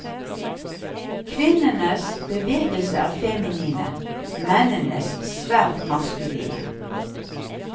Kvinnenes bevegelse er feminine, mennenes svært maskuline.